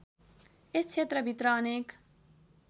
यस क्षेत्रभित्र अनेक